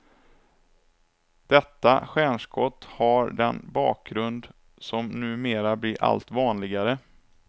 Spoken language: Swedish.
Detta stjärnskott har den bakgrund som numer blir allt vanligare.